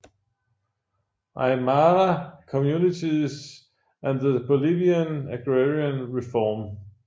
Aymara Communities and the Bolivian Agrarian Reform